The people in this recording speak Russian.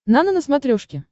нано на смотрешке